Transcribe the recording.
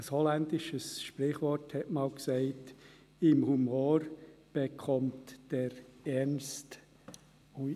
Ein holländisches Sprichwort sagte einst: «Im Humor bekommt der Ernst ...»